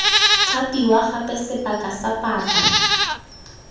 thapiwa gape sebaka sa paka